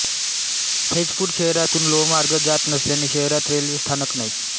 फैजपूर शहरातून लोहमार्ग जात नसल्याने शहरात रेल्वे स्थानक नाही